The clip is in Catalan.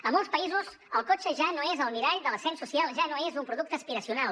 a molts països el cotxe ja no és el mirall de l’ascens social ja no és un producte aspiracional